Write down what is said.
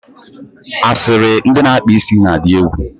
asịrị ndị na-akpa isi na-adị egwu.